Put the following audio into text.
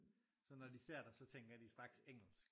Så når de ser dig så tænker de strakt engelsk